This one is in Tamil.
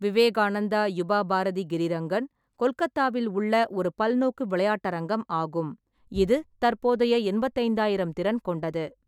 விவேகானந்தா யுபா பாரதி கிரிரங்கன், கொல்கத்தாவில் உள்ள ஒரு பல்நோக்கு விளையாட்டரங்கம் ஆகும், இது தற்போதைய எண்பத்தி ஐந்தாயிரம் திறன் கொண்டது.